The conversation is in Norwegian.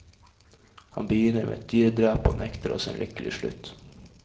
Han begynner med et dyredrap og nekter oss en lykkelig slutt.